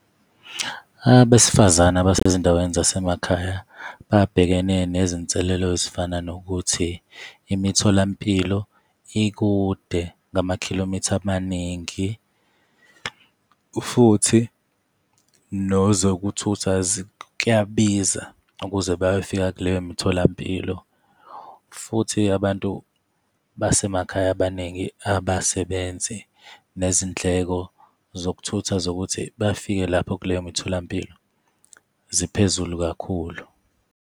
Abesifazane abasezindaweni zasemakhaya babhekene nezinselelo ezifana nokuthi imitholampilo ikude ngama-kilometer amaningi, futhi nezokuthutha kuyabiza ukuze bayofika kuleyo mitholampilo. Futhi abantu basemakhaya abaningi abasebenzi, nezindleko zokuthutha zokuthi bafike lapho kuleyo mitholampilo ziphezulu kakhulu.